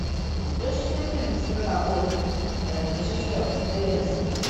ты найдешь у себя фильм страна оз режиссерская версия